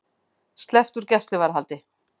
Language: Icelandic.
Sleppt úr gæsluvarðhaldi